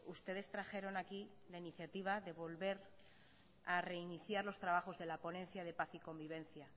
ustedes trajeron aquí la iniciativa de volver a reiniciar los trabajos de la ponencia de paz y convivencia